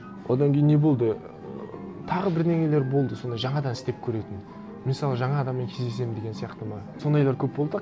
одан кейін не болды ыыы тағы бірдеңелер болды сондай жаңадан істеп көретін мысалы жаңа адаммен кездесемін деген сияқты ма сондайлар көп болды